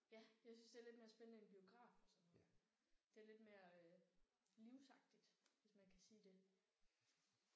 Ja jeg synes det er lidt mere spændende end biograf og sådan noget. Det er lidt mere livsagtigt hvis man kan sige det